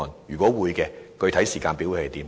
若會，具體時間表為何？